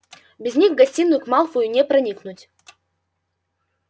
без них в гостиную к малфою не проникнуть